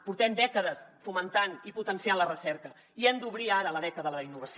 portem dècades fomentant i potenciant la recerca i hem d’obrir ara la dècada de la innovació